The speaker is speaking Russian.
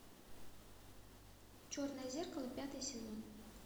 черное зеркало пятый сезон